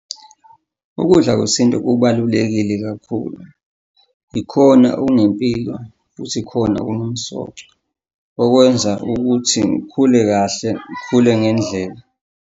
Ukudla kwesintu kubalulekile kakhulu, ikhona okunempilo futhi ikhona okunomsoco okwenza ukuthi ngikhule kahle ngikhule ngendlela.